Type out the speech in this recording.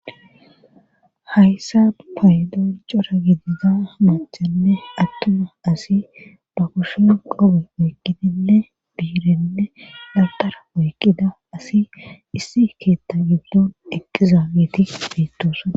Hayssa paydon cora gidida maachenne attuma asi ba koshen qobe oyqinine biirenne daltara woyqida asi issi keetta giddon eqqizageeti beettoosona.